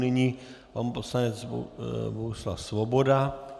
Nyní pan poslanec Bohuslav Svoboda.